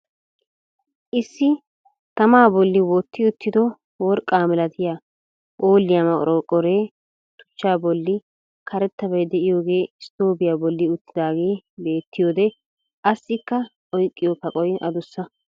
Issi tamaa bolli wotti uttido worqqaa malattiya phooliya manqorqoree tuchchaa bolli karettabay de'iyoogee stoobiyaa bolli uttidaagee bettiyoode assikka oyqqiyo kaqoy adussa.